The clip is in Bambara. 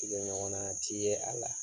ɲɔgɔn na ti ye a la